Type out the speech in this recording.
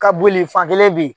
Ka boli fakelen bɛ ye.